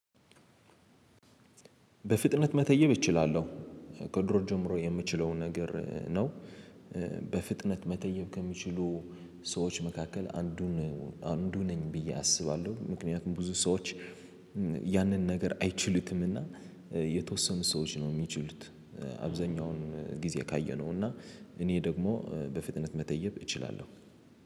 በፍጥነት መተየብ እችላለሁ ከድሮ ጀምሮ የምችለውን ነገር ነው። በፍጥነት መተየብ ከሚችሉ ሰዎች መካከል አንዱን አንዱ ነኝ ብዬ አስባለሁ። ምክንያቱም ብዙ ሰዎች። ያንን ነገር አይችሉትምና። የተወሰኑ ሰዎች ነው እሚችሉት አብዛኛውን ጊዜ ካየነው እና እኔ ደግሞ በፍጥነት መተየብ እችላለሁ